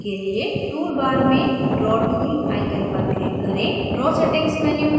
अणु को बनाने के लिए tool bar में draw tool icon पर click करें